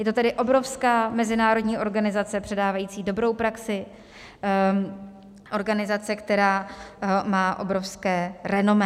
Je to tedy obrovská mezinárodní organizace předávající dobrou praxi, organizace, která má obrovské renomé.